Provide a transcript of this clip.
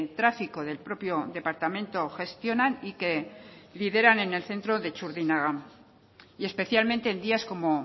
tráfico del propio departamento gestionan y que lideran en el centro de txurdinaga y especialmente en días como